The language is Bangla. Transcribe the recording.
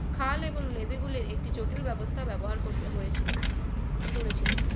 খাল এবং নদী গুলির একটি জটিল ব্যবস্থায় ব্যবহার করবে হয়েছিল গড়েছিল